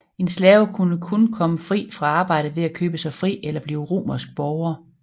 En slave kunne kun komme fri fra arbejdet ved at købe sig fri eller blive romersk borger